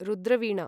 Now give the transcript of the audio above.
Rudra Veena